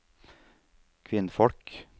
kvinnfolk